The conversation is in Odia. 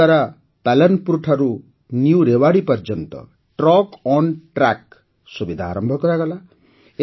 Railwayଦ୍ୱାରା ପାଲନପୁର୍ଠାରୁ ନ୍ୟୁ ରେୱାଡ଼ୀ ପର୍ଯ୍ୟନ୍ତ ଟ୍ରକଣ୍ଟ୍ରାକ୍ ସୁବିଧା ଆରମ୍ଭ କରାଗଲା